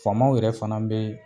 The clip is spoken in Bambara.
Famaw yɛrɛ fana be